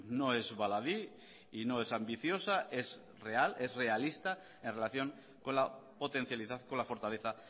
no es baladí y no es ambiciosa es real es realista en relación con la potencialidad con la fortaleza